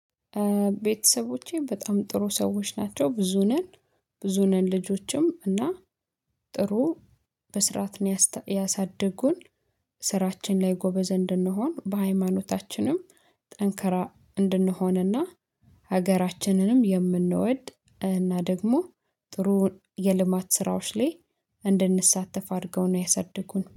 ቤተሰቦቼ በጣም ጥሩ ሰዎች ናቸው ብዙ ነን ብዙ ነን ልጆችም እና ጥሩ በስራት ያሳድጉን። ስራችን ላይ ጎበዝ እንድንሆን በሃይማኖታችንም ጠንከራ እንድንሆንና ሀገራችንንም የምንወድ እና ደግሞ ጥሩ የልማት ስራዎች ላይ እንድንሳተፍ አድርገው ነው ያሰደጉን